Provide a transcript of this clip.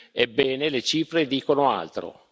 Ebbene, le cifre dicono altro.